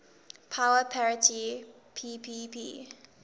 power parity ppp